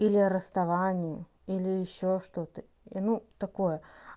или расставание или ещё что-то ну такое